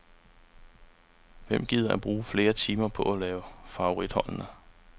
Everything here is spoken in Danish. Hvem gider at bruge flere timer på at lave favoritholdene.